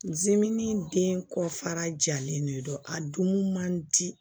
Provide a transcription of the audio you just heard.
Zimɛni den kɔ fara jalen de don a dun man di